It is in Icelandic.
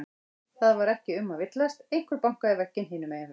Það var ekki um að villast, einhver bankaði í vegginn hinum megin frá.